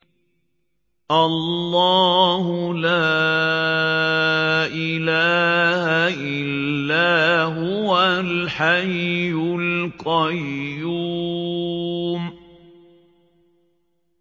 اللَّهُ لَا إِلَٰهَ إِلَّا هُوَ الْحَيُّ الْقَيُّومُ